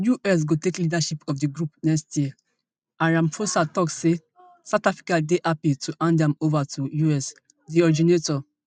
us go take leadership of di group next year and ramaphosa tok say south africa dey happy to hand am ova to us di originators